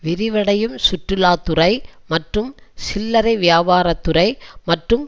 விரிவடையும் சுற்றுலா துறை மற்றும் சில்லறை வியாபாரத் துறை மற்றும்